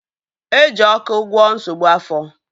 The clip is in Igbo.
Eji ọkụ gwọọ nsogbu afọ